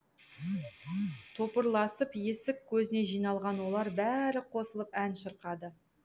топырласып есік көзіне жиналған олар бәрі қосылып ән шырқады